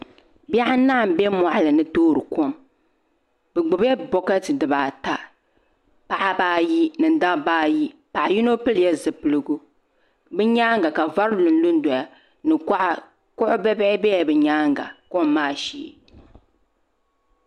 Bihi anahi n bɛ moɣali ni toori kom bi gbubila bokati dibaata paɣaba ayi ni dabba ayi paɣa yino pilila zipiligu bi nyaanga ka vari lunlu doya ni kuɣa kuɣu bibihi biɛla bi nyaanga kom maa shee